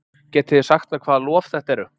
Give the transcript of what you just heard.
Getið þið sagt mér hvaða lof þetta eru?